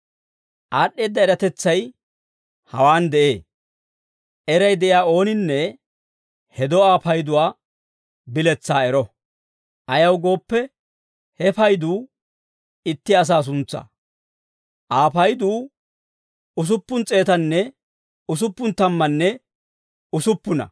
Aad'd'eedda eratetsay hawaan de'ee. Eray de'iyaa ooninne he do'aa payduwaa biletsaa ero; ayaw gooppe, he payduu itti asaa suntsaa. Aa payduu usuppun s'eetanne usuppun tammanne usuppuna.